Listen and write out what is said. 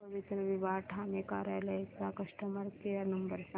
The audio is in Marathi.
पवित्रविवाह ठाणे कार्यालय चा कस्टमर केअर नंबर सांग